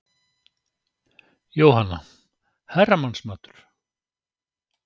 Jóhanna: Herramannsmatur?